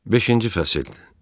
Beşinci fəsil.